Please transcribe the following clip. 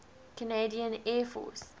canadian air force